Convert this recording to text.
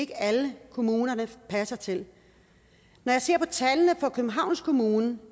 er alle kommunerne de passer til når jeg ser på tallene fra københavns kommune